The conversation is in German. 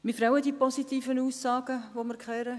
Mich freuen diese positiven Aussagen, die wir gehört haben.